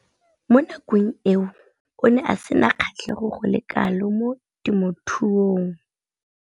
Mo nakong eo o ne a sena kgatlhego go le kalo mo temothuong.